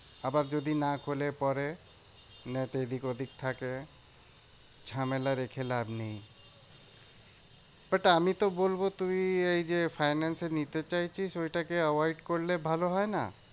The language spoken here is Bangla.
আবার যদি না খোলে পরে net এদিক ওদিক থাকে। ঝামেলা রেখে লাভ নেই। but আমিতো বলবো তুমি এই যে finance এ নিতে চাইছিস ওইটাকে avoid করলে ভালো হয় না?